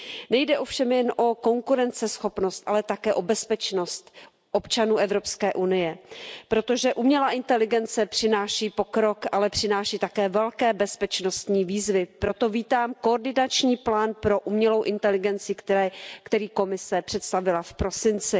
Nejde ovšem jen o konkurenceschopnost, ale také o bezpečnost občanů Evropské unie, protože umělá inteligence přináší pokrok, ale přináší také velké bezpečnostní výzvy, proto vítám koordinační plán pro umělou inteligenci, který Komise představila v prosinci.